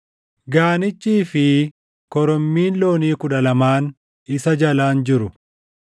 gaanichii fi korommiin loonii kudha lamaan isa jalaan jiru;